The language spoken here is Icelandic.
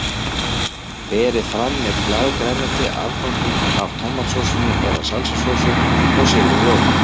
Berið fram með blaðgrænmeti, afganginum af tómatsósunni eða salsasósu og sýrðum rjóma.